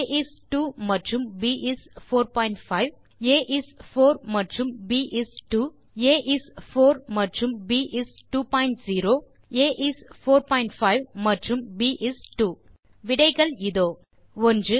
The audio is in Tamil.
ஆ இஸ் 2 மற்றும் ப் இஸ் 45 ஆ இஸ் 4 மற்றும் ப் இஸ் 2 ஆ இஸ் 4 மற்றும் ப் இஸ் 20 ஆ இஸ் 45 மற்றும் ப் இஸ் 2 விடைகள் இதோ 1